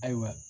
Ayiwa